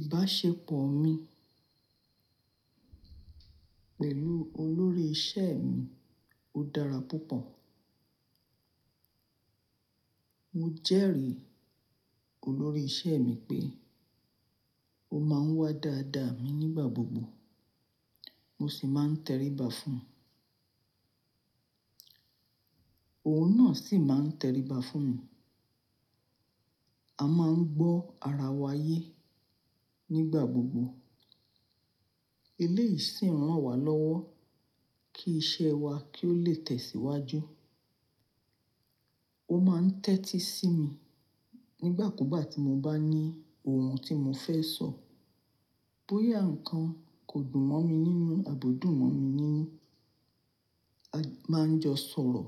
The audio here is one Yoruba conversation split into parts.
Ìbáṣepọ̀ mi pẹ̀lú olórí iṣẹ́ mi, ó dára púpọ̀. Mo jẹ́rìí olórí iṣẹ́ mi pé ó máa ń wá dáadáa mi nígbà gbogbo. Mo sì máa ń tẹríba fún un. Òun náà sì máa ń tẹríba fún mi. A máa ń gbọ́ ara wa yé nígbà gbogbo. Eléyìí sì ń rán wa lọ́wọ́ kí iṣẹ́ wa kí ó lè tẹ̀síwájú. Ó máa ń tẹ́tí sí mi nígbà kúgbà tí mo bá ní ohun tí mo fẹ́ sọ. Bóyá nǹkan kò dùn mọ́ mi nínú, àbò dùn mọ́ mi nínú. A máa ń jọ sọ̀rọ̀,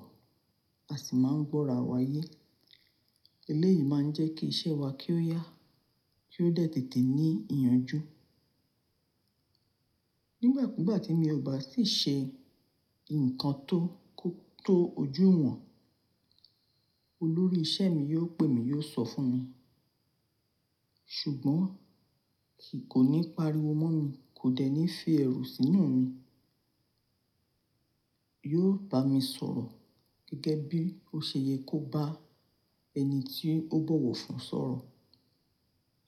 a sì máa ń gbọ́ ara wa yé. Eléyìí máa ń jẹ́ kí iṣẹ́ wa kí ó yá, kí ó tètè ní ìyànjú. Nígbà kúgbà tí mo bá sì ṣe nǹkan tó, tó ojú ìwọ̀n, olórí iṣẹ́ mi yóò pè mí, yóò sọ fún mi. Ṣùgbọ́n kò ní pariwo mọ́ mi, kò dẹ̀ ní fi ẹrù sínú mi. Yóò bá mi sọ̀rọ̀ gẹ́gẹ́ bí ó ṣe yẹ kó bá ẹni tí ó bọ̀wọ̀ fún sọ̀rọ̀.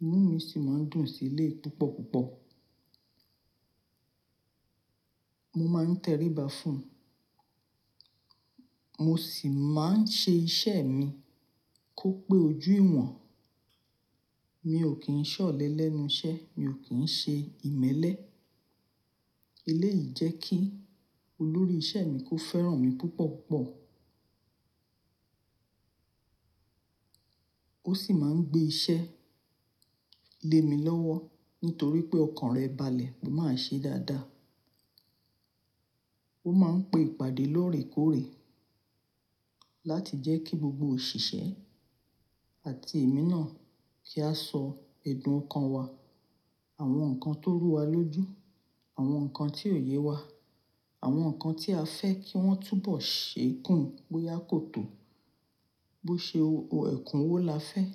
Inú mi sì máa ń dùn sí ilé púpọ̀ púpọ̀. Mo máa ń tẹríba fún un, mo sì máa ń ṣe iṣẹ́ mi kó pé ojú ìwọ̀n. Mi ò kí ń ṣọ̀lẹ lẹ́nu iṣẹ́, mi ò kí ń ṣe ìmẹ́lẹ́. Eléyìí jẹ́ kí olórí iṣẹ́ mi kó fẹ́ràn mi púpọ̀ púpọ̀. Ó sì máa ń gbé iṣẹ́ lé mi lọ́wọ́ nítorí pé ọkàn rẹ̀ balẹ̀, pe máa ṣe dáadáa. Ó máa ń pé ìpàdé lóòrèkóòrè láti jẹ́ kí gbogbo òṣìṣẹ́ àti èmi náà kí a sọ ẹ̀dùn kan wa, àwọn nǹkan tó rú wa lójú, àwọn nǹkan tí ò ye wa, àwọn nǹkan tí a fẹ́ kí wọ́n túbọ̀ ṣe kùn bóyá kò tó, bó ṣe òhún ẹkùn wo la fẹ́.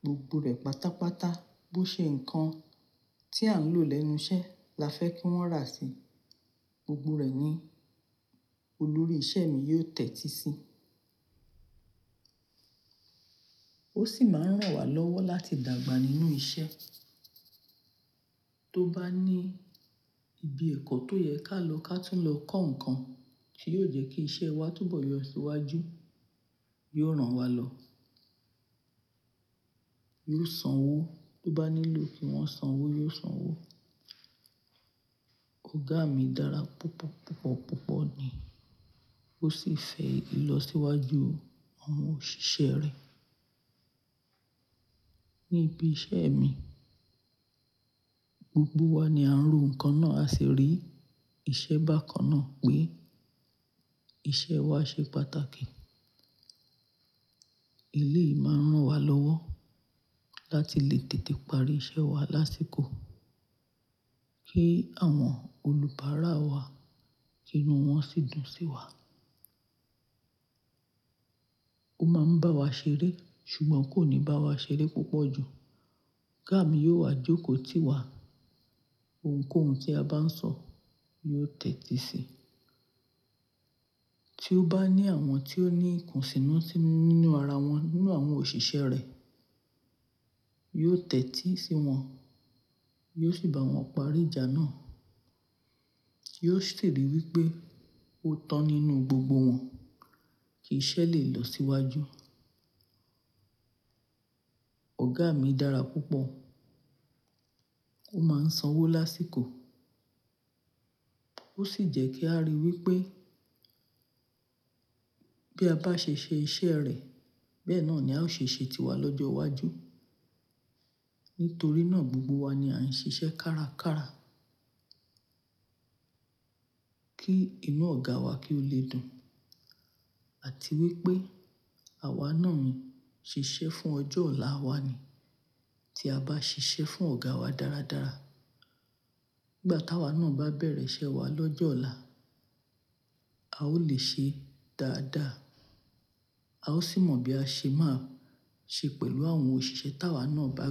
Gbogbo rẹ̀ pátápátá. Bó ṣe nǹkan tí à ń lò lẹ́nu iṣẹ́ la fẹ́ kí wọ́n rà sí i, gbogbo rẹ̀ ni olórí iṣẹ́ mi yóò tẹ́tí sí i. Ó sì máa ń rán wa lọ́wọ́ láti dàgbà nínú iṣẹ́. Tó bá ní ibi ẹ̀kọ́ tó yẹ ká lọ ká túń lọ kọ́ nǹkan tí yóò jẹ́ kí iṣẹ́ wa túbọ̀ yọ síwájú, yóò rán wa lọ. Yóò sanwó tó bá nílò kí wọ́n sanwó, yóò sanwó. Ọ̀gá mi dára púpọ̀ púpọ̀ púpọ̀ ni. Ó sì fẹ́ ìlọsíwájú àwọn òṣìṣẹ́ rẹ̀. Níbi iṣẹ́ mi, gbogbo wa ni à ń ro nǹkan náà, a sì rí ìṣe bákan náà pé iṣẹ́ wa ṣe pàtàkì. Eléyìí máa ń rán wa lọ́wọ́ láti lè tètè parí iṣẹ́ wa lásìkò kí àwọn olùbárá wa inú wọn sì dùn sí wa. Ó máa ń bá wa ṣeré ṣùgbọ́n kò ní bá wa ṣeré púpọ̀ jù. Ọ̀gá mi yóò wá jókòó tì wá ohunkóhun tí a bá ń sọ, yóò tẹ́tí sí i. Tí ó bá ní àwọn tí ó ní ikùnsínú nínú ara wọn nínú àwọn òṣìṣẹ́ rẹ̀, yóò tẹ́tí sí wọn, yóò sì bá wọn parí ìjà náà. Yóò sì ríi wí pé ó tán nínú gbogbo wọn kí iṣẹ́ lè lọ síwájú. Ọ̀gá mi dára púpọ̀. Ó máa ń sanwó lásìkò. Ó sì jẹ́ kí a rí i wí pé bí a bá ṣe ṣe iṣẹ́ rẹ̀, bẹ́ẹ̀ náà ni a ó ṣe ṣe tiwa lọ́jọ́ iwájú. Nítorí náà gbogbo wa ni a ń ṣe iṣẹ́ kárakára kí inú ọ̀gá wa kí ó lè dùn. Àti wí pé àwa náà ń ṣe iṣẹ́ fún ọjọ́ ọ̀la wa ni. Tí a bá ṣe iṣẹ́ fún ọ̀gá wa dáradára, nígbà táwa náà bá bẹ̀rẹ̀ iṣẹ́ wa lọ́jọ́ ọ̀la, a ó lè ṣe dáadáa. A ó sì mọ̀ bí a ṣe máa ṣe pẹ̀lú àwọn òṣìṣẹ́ táwa náà bá.